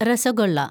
rasgulla